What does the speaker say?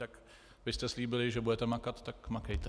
Tak vy jste slíbili, že budete makat, tak makejte.